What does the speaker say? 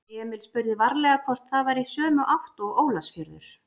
Emil spurði varlega hvort það væri í sömu átt og Ólafsfjörður.